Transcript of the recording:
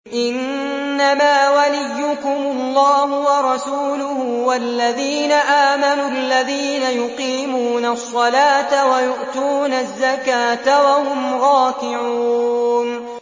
إِنَّمَا وَلِيُّكُمُ اللَّهُ وَرَسُولُهُ وَالَّذِينَ آمَنُوا الَّذِينَ يُقِيمُونَ الصَّلَاةَ وَيُؤْتُونَ الزَّكَاةَ وَهُمْ رَاكِعُونَ